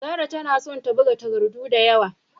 Zarah tana son ta buga takardu da yawa.